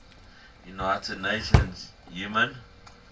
united nations human